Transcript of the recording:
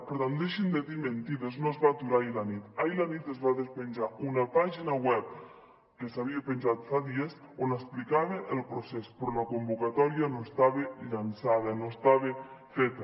per tant deixin de dir mentides no es va aturar ahir a la nit ahir a la nit es va despenjar una pàgina web que s’havia penjat fa dies on explicava el procés però la convocatòria no estava llançada no estava feta